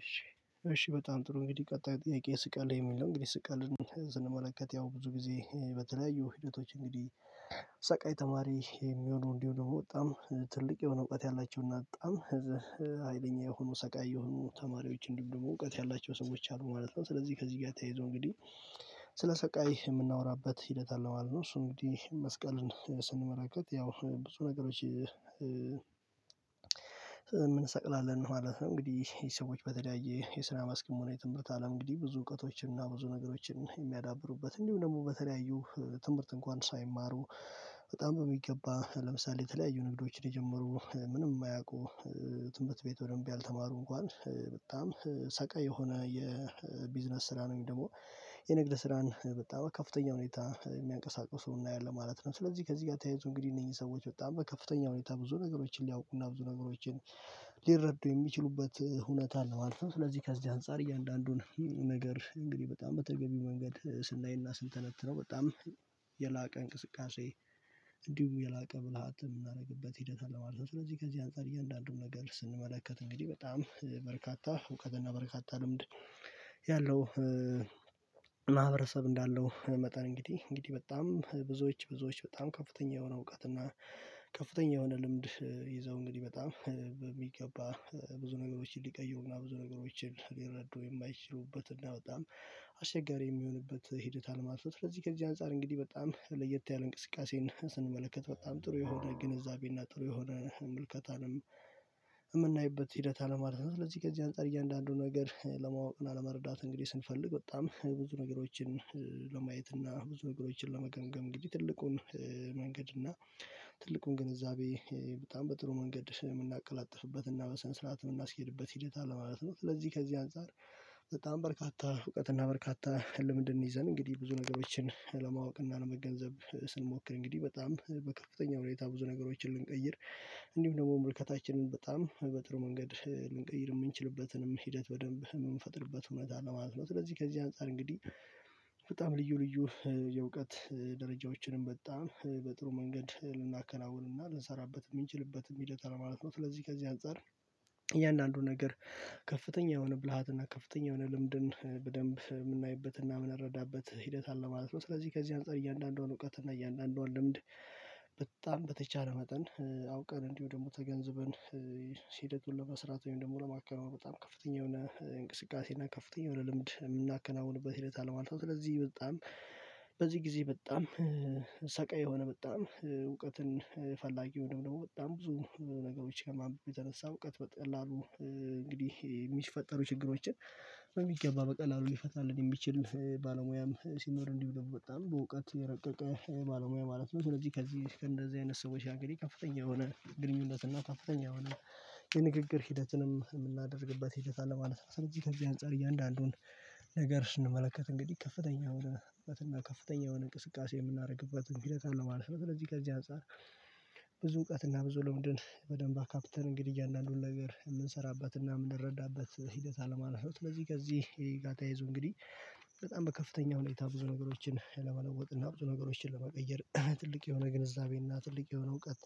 እሺ እሺ በጣም ጥሩ እንግዲህ ቀጣይ ጥያቄ ይስቃሉ የሚል ነው። እንግዲህ ስቃልን ስንመለከት ያው ብዙ ጊዜ በተለያዩ ሂደቶች እንግዲህ ሰቃይ ተማሪ የሚሆኑ እንዲሁም ደግሞ በጣም ትልቅ የሆነ እውቀት ያላችሁና በጣም አይለኛ የሆኑ ሰቃይ የሆኑ ተማሪዎች እንዲሁም ደግሞ እውቀት ያላቸው ሰዎች አሉ ማለት ነው። ስለዚህ ከዚህ ጋር ተያይዞ እንግዲህ ስለ ሰቃይ የምናወራበት ሂደት አለ ማለት ነው። እሱ እንግዲህ መስቀልን ስንመለከት ያው ብዙ ነገሮች የምንሰቅልበን ማለት ነው። እንግዲህ ሰዎች በተለያየ የስራ መስክ የትምህርት አለም እንግዲህ ብዙ እውቀቶችን እና ብዙ ነገሮችን የሚያዳብሩበት እንዲሁም ደግሞ በተለያዩ ትምህርት እንኳን ሳይማሩ በጣም በሚገባ ለምሳሌ የተለያዩ ንግዶችን የጀመሩ ምንም የማያውቁ ትህምርት ቤት በደንብ ያልተማሩ እንኳን በጣም ሰቀይ የሆነ የቢዝነስ ስራ ነው። ደግሞ የንግድ ስራን በጣም ከፍተኛ ሁኔታ የሚያንቀሳቅሱ እናያለን ማለት ነው። ስለዚህ ከዚህ ጋር ተያይዞ እንግዲህ እነዚህ ሰዎች በጣም በከፍተኛ ሁኔታ ብዙ ነገሮችን ሊያውቁና ብዙ ነገሮችን ሊረዱ የሚችሉበት እውነት አለው። አልፎ ስለዚህ ከዚህ አንፃር እያንዳንዱን ነገር እንግዲህ በጣም በተገቢው መንገድ ስናይና ስንተነትነው በጣም የላቀ እንቅስቃሴ እንዲሁም የላቀ ብልሃት የምናደርግበት ሂደት አለ ማለት ነው። ስለዚህ ከዚህ አንፃር እያንዳንዱን ነገር ስንመለከት እንግዲህ በጣም በርካታ እውቀትና በርካታ ልምድ ያለው ማህበረሰብ እንዳለው መጠን እንግዲህ እንግዲህ በጣም ብዙዎች ብዙዎች በጣም ከፍተኛ የሆነ እውቀት እና ከፍተኛ የሆነ ልምድ ይዘው እንግዲህ በጣም በሚገባ ብዙ ነገሮችን ሊቀይሩና ብዙ ነገሮችን ሊረዱ የማይችሉበትና በጣም አስቸጋሪ የሚሆንበት ሂደት አለ ማለት ነው። ለዚህ ከዚህ አንፃር እንግዲህ በጣም ለየት ያለ እንቅስቃሴን ስንመለከት በጣም ጥሩ የሆነ ግንዛቤና ጥሩ የሆነ ምልከታንም የምናይበት ሂደት አለማለት ነው። ስለዚህ ከዚህ አንፃር እያንዳንዱን ነገር ለማወቅና ለመረዳት እንግዲህ ስንፈልግ በጣም ብዙ ነገሮችን ለማየት እና ብዙ ነገሮችን ለመገምገም እንግዲህ ትልቁን መንገድ እና ትልቁን ግንዛቤ በጣም በጥሩ መንገድ የምናቀላጥፍበት እና በስነሥርዓት የምናስኬድበት ሂደት አለ ማለት ነው። ስለዚህ ከዚህ አንፃር በጣም በርካታ እውቀትና በርካታ ህልም ይዘን እንግዲህ ብዙ ነገሮችን ለማወቅና ለመገንዘብ ስንሞክር እንግዲህ በጣም በከፍተኛ ሁኔታ ብዙ ነገሮችን ልንቀይር እንዲሁም ደግሞ ምልከታችንን በጣም በጥሩ መንገድ ልንቀይር የምንችልበትንም ሂደት በደንብ የምንፈጥርበት እውነት አለ ማለት ነው። ስለዚህ ከዚህ አንፃር እንግዲህ በጣም ልዩ ልዩ የእውቀት ደረጃዎችንም በጣም በጥሩ መንገድ ልናከናውንና ልንሰራበት የምንችልበት ሂደት አለ ማለት ነው። ስለዚህ ከዚህ አንፃር እያንዳንዱ ነገር ከፍተኛ የሆነ ብልሃትና ከፍተኛ የሆነ ልምድን በደንብ የምናይበትና የምንረዳበት ሂደት አለ ማለት ነው። ስለዚህ ከዚህ አንፃር እያንዳንዷን እውቀትና እያንዳንዷን ልምድ በጣም በተቻለ መጠን አውቀን እንዲሁ ደግሞ ተገንዝበን ሂደቱን ለመስራት ወይም ደግሞ ለማካሄድ በጣም ከፍተኛ የሆነ እንቅስቃሴ እና ከፍተኛ የሆነ ልምድ የምናከናውንበት ሂደት አለ ማለት ነው። ስለዚህ በጣም በዚህ ጊዜ በጣም ሰቃይ የሆነ በጣም እውቀትን ፈላጊ አንድሁም በጣም ብዙ ነገሮች የተነሳ እውቀት በቀላሉ እንግዲህ የሚፈጠሩ ችግሮችን በሚገባ በቀላሉ ሊፈታልን የሚችል ባለሙያም ሲኖር እንዲሁ ደግሞ በጣም በእውቀት የረቀቀ ባለሙያ ማለት ነው። ስለዚህ ከዚህ ከእንደዚህ አይነት ሰዎች ሀገር የከፍተኛ የሆነ ግንኙነት እና ከፍተኛ የሆነ የንግግር ሂደትንም የምናደርግበት ሂደት አለ ማለት ነው። ስለዚህ ከዚህ አንፃር እያንዳንዱን ነገር ስንመለከት እንግዲህ ከፍተኛ የሆነበትና ከፍተኛ የሆነ እንቅስቃሴ የምናደርግበትን ሂደት ለማለት ነው። ስለዚህ ከዚህ አንፃር ብዙ እውቀት እና ብዙ ልምድን በደንብ አካፕተን እንግዲህ እያንዳንዱን ነገር የምንሰራበት እና የምንረዳበት ሂደት አለ ማለት ነው። ለዚህ ከዚህ ከዚ ጋር ተያይዞ እንግዲህ በጣም በከፍተኛ ሁኔታ ብዙ ነገሮችን ለመለወጥ እና ብዙ ነገሮችን ለመቀየር ትልቅ የሆነ ግንዛቤና ትልቅ የሆነ እውቀት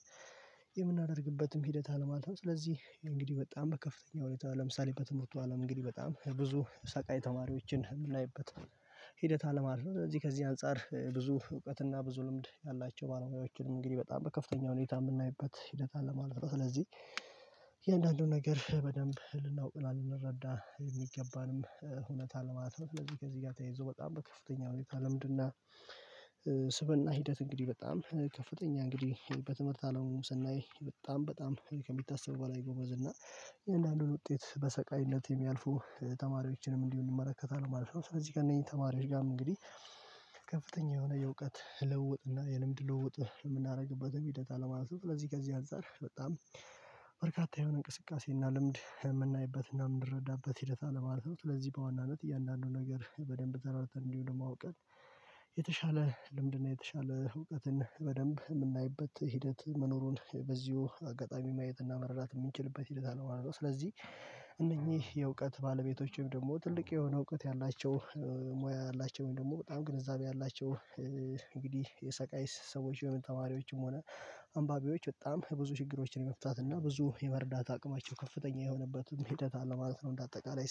የምናደርግበትም ሂደት አለ ማለት ነው። ስለዚህ እንግዲህ በጣም በከፍተኛ ሁኔታ ለምሳሌ በትምህርቱ አለም እንግዲህ በጣም ብዙ ሰቃይ ተማሪዎችን የምናይበት ሂደት አለ ማለት። ስለዚህ ከዚህ አንፃር ብዙ እውቀትና ብዙ ልምድ ያላቸው ባለሙያዎችንም እንግዲህ በጣም በከፍተኛ ሁኔታ የምናይበት ሂደት አለ ማለት ነው። ስለዚህ የእያንዳንዱን ነገር በደንብ ልናውቅ እና ልንረዳ የሚገባንም እውነት አለ ማለት ነው። ስለዚህ ከዚህ ጋር ተያይዞ በጣም በከፍተኛ ሁኔታ ልምድ እና ስብእና ሂደት እንግዲህ በጣም ከፍተኛ እንግዲህ በትምህርት አለሙ ስናይ በጣም በጣም ከሚታሰቡ በኋላ ጎበዝና እያንዳንዱን ውጤት በሰቃይነት የሚያልፉ ተማሪዎችንም እንዲሁ እንመለከታለን ማለት ነው። ስለዚህ ግን ከነኚ ተማሪዎች ጋርም እንግዲህ ከከፍተኛ የሆነ የእውቀት ልዉዉጥ የልምድ ለውዉጥ የምናደርግበትም ሂደት አለ ማለት ነው። ለዚህ ከዚህ አንፃር በጣም በርካታ የሆነ እንቅስቃሴ እና ልምድ የምናይበት እና የምንረዳበት ሂደት አለ ማለት ነው። ስለዚህ በዋናነት እያንዳንዱን ነገር በደንብ አብራርተን እንዲሁን አዉቀን የተሻለ ልምድና የተሻለ እውቀትን በደንብ የምናይበት ሂደት መኖሩን በዚሁ አጋጣሚ ማየት እና መረዳት የምንችልበት ሂደት አለው አለው። ስለዚህ እነኚህ የእውቀት ባለቤቶች ወይም ደግሞ ትልቅ የሆነ እውቀት ያላቸው ሙያ ያላቸው ወይም ደግሞ በጣም ግንዛቤ ያላቸው እንግዲህ የሰቃይ ሰዎች የሆኑ ተማሪዎችም ሆነ አንባቢዎች በጣም የብዙ ችግሮችን የመፍታት እና ብዙ የመርዳት አቅማቸው ከፍተኛ የሆነበትን ሂደት አለ ማለት ነው። እንደ አጠቃላይ